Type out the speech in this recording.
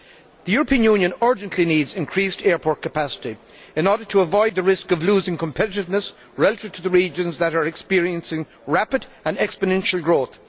The European Union urgently needs increased airport capacity in order to avoid the risk of losing competitiveness relative to the regions that are experiencing rapid, exponential growth.